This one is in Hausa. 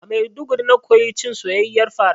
A Maiduguri na koyi cin soyayyiyar fara